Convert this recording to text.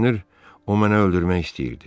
Görünür o mənə öldürmək istəyirdi.